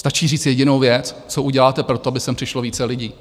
Stačí říct jedinou věc, co uděláte pro to, aby sem přišlo více lidí.